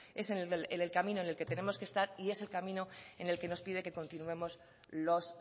es en el camino en el que tenemos que estar y es el camino en el que nos piden que continuemos los